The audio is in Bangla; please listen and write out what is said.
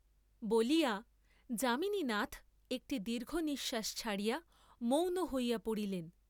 বলিয়া যামিনীনাথ একটি দীর্ঘ নিশ্বাস ছাড়িয়া মৌন হইয়া পড়িলেন।